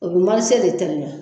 A bɛ marie de teliya.